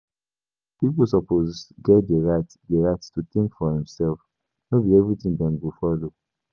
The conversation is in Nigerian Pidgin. Pipo suppose get di right di right to think for demself; no be everything dem go follow.